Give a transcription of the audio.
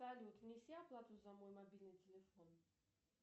салют внеси оплату за мой мобильный телефон